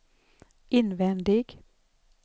invändig